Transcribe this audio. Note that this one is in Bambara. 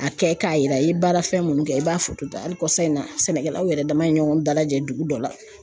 A kɛ k'a yira i ye baara fɛn minnu kɛ i b'a foto ta hali kɔsa in na sɛnɛkɛlaw yɛrɛ dama ye ɲɔgɔn dalajɛ dugu dɔ la